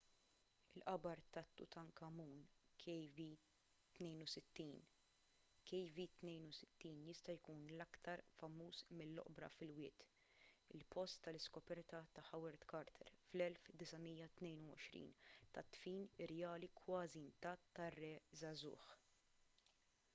il-qabar ta' tutankhamun kv62. kv62 jista' jkun l-aktar famuż mill-oqbra fil-wied il-post tal-iskoperta ta' howard carter fl-1922 tad-dfin irjali kważi intatt tar-re żagħżugħ